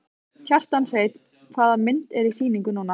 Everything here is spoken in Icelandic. Kjartan Hreinn: Hvaða mynd er í sýningu núna?